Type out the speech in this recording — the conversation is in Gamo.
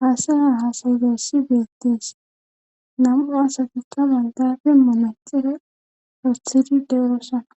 haasaya haasayidessi beettees namu asatikalan daafe monaxire rothidi deerosana